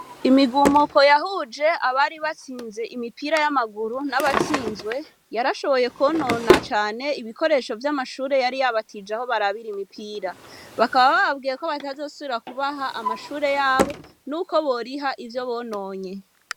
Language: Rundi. Imigumuko yahuje abari batsinze imipira yamaguru nabatsinzwe yarashoboye konona cane ibikoresho vyamashure yari yabatije aho barabira umupira bakaba bababwiye ko batazosubira kubaha amashure yabo nuko boriha ivyo bononye.